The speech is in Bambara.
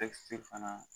fana